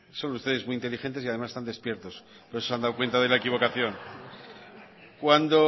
son ustedes muy inteligentes y además están despiertos por eso se han dado cuenta de la equivocación cuando